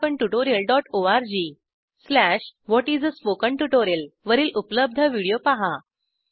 httpspoken tutorialorg What is a Spoken Tutorial वरील उपलब्ध व्हिडिओ पहा